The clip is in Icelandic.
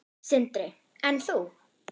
Sindri: En þú?